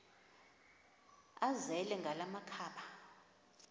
azele ngala makhaba